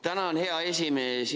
Tänan, hea esimees!